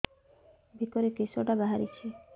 ବେକରେ କିଶଟା ବାହାରିଛି